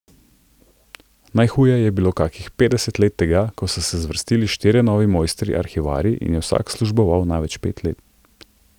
Najhuje je bilo kakih petdeset let tega, ko so se zvrstili štirje novi mojstri Arhivarji in je vsak služboval največ pet let.